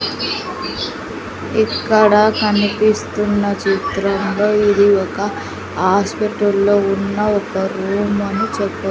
ఇక్కడ కనిపిస్తున్న చిత్రంలో ఇది ఒక ఆస్పిటల్లో ఉన్న ఒక రూమ్ అని చెప్పవ--